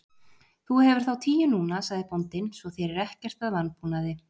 Þú hefur þá tíu núna, sagði bóndinn,-svo þér er ekkert að vanbúnaði.